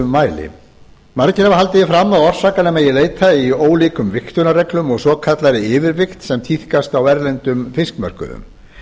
mæli margir hafa haldið því fram að orsakanna megi leita í ólíkum vigtunarreglum og svokallaðri yfirvigt sem tíðkast á erlendum fiskmörkuðum